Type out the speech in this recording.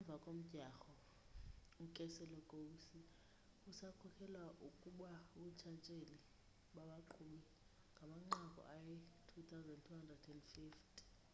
emva komdyarho ukeselowski usakhokhela kubuntshatsheli babaqhubi ngamanqaku ayi-2,250